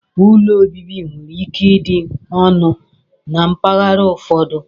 Úlọ obibi nwere ike ịdị ọnụ na mpaghara ụfọdụ.